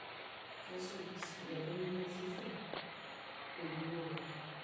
Kesuj esujata naingasisho enjingore.